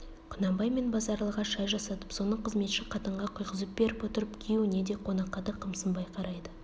құнанбай мен базаралыға шай жасатып соны қызметші қатынға құйғызып беріп отырып күйеуіне де қонаққа да қымсынбай қарайды